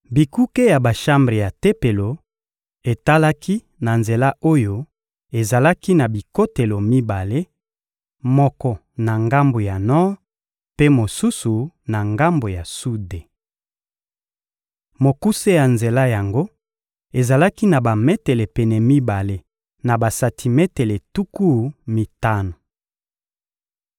Bikuke ya bashambre ya Tempelo etalaki na nzela oyo ezalaki na bikotelo mibale: moko na ngambo ya nor mpe mosusu na ngambo ya sude. Mokuse ya nzela yango ezalaki na bametele pene mibale na basantimetele tuku mitano.